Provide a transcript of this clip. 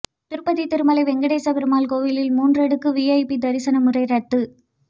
திருப்பதி திருமலை வெங்கடேச பெருமாள் கோயிலில் மூன்றடுக்கு விஐபி தரிசன முறை ரத்து